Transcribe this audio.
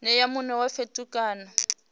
nea mune wa fhethu kana